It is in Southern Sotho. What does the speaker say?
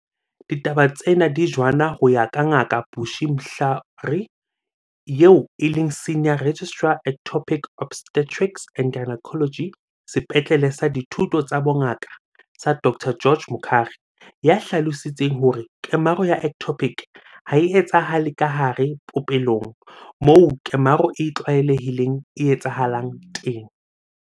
Ditaba tsena di jwaana ho ya ka Ngaka Bushy Mhlari, eo e leng Senior Registrar Ectopic Obstetrics and Gynaecology Sepetlele sa Dithuto tsa Bongaka sa Dr George Mukhari, ya hlalositseng hore kemaro ya ectopic ha e etsahale kahare popelong, moo kemaro e tlwaelehileng e etsahalang teng.